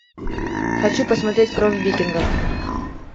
хочу посмотреть кровь викингов